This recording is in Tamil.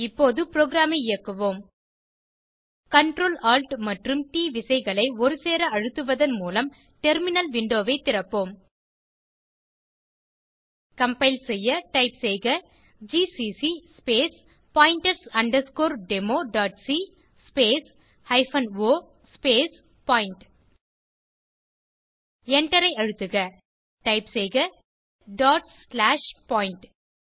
இப்போது புரோகிராம் ஐ இயக்குவோம் Ctrl Alt மற்றும் ட் விசைகளை ஒருசேர அழுத்துவதன் மூலம் டெர்மினல் விண்டோ ஐ திறப்போம் கம்பைல் செய்ய டைப் செய்க GCC space pointers underscore demo dot c space hyphen o space point Enter ஐ அழுத்துக டைப் செய்க டாட் ஸ்லாஷ் பாயிண்ட்